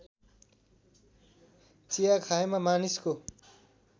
चिया खाएमा मानिसको